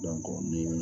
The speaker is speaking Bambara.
ni